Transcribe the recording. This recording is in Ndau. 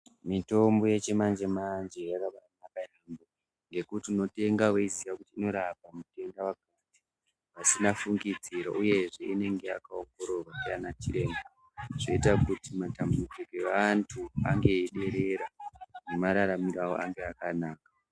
Mutombo yechimanje manje yakabanaka ngekuti unotenga weiziya kuti inorapa zvitenda zvakasiyana siyana vasina fungidziro uyezve inenge yakawongororwa ndiana chiremba zvoita kuti matambudziko evantu ange eiderera nemararamiro avo ange akanaka.